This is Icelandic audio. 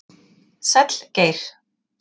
Sæll Geir